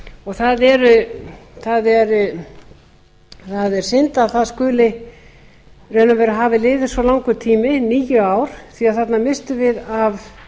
og það er synd að það skuli í raun og veru hafa liðið svo langur tími níu ár því þarna misstum við af